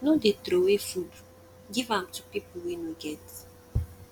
no dey troway food give am to pipu wey no get